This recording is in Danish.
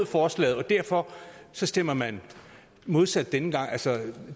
forslag og derfor stemmer man modsat denne gang altså